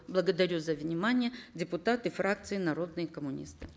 благодарю за внимание депутаты фракции народные коммунисты